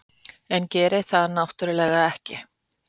En gerir það náttúrlega ekki.